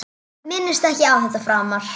Minnist ekki á þetta framar.